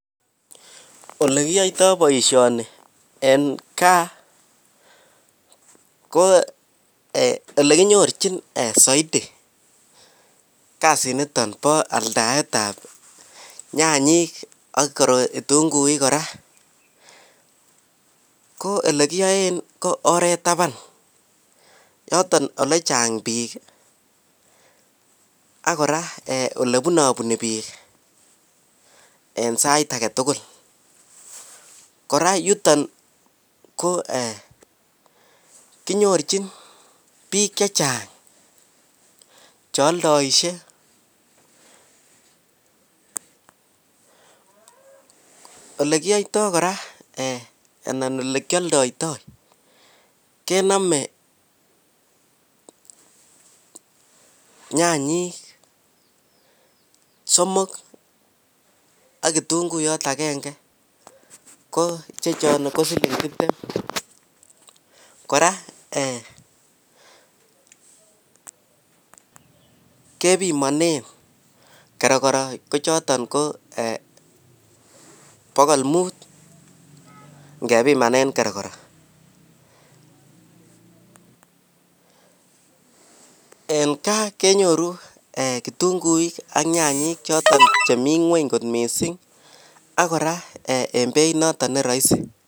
Olekiyoito boisioni en gaa ko olekinyorchin soiti kasiniton bo aldaet ab nyanyiik ak kitunguik kora, ko olegiyoe ko oreet taban yoton olechang' biik ak kora olebunobuni biik en sait agetugul, kora yuton ko kinyorchin biik chechang' cheoldoisie, olekiyoio kora anan olekioldoito kenome nyanyiik somok ak kitunguiyot agenge ko chechon ko siling' tibtem, kora kebimone kerokoro ko choton ko bogol muut ngebimanen kerokoro, en gaa kenyoru kitunguik ak nyanyiik choton cheminyweny missing ak kora en beit neroisi.